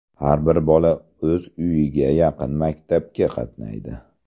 Har bir bola o‘z uyiga yaqin maktabga qatnaydi.